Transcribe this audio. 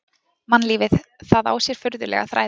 Mannlífið,- það á sér furðulega þræði.